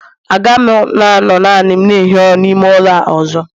Agaghị m anọ naanị m na-ehi ụra n'ime ụlọ a ọzọ